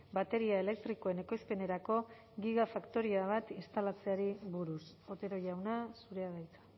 bateria elektrikoen ekoizpenerako gigafaktoria bat instalatzeari buruz otero jauna zurea da hitza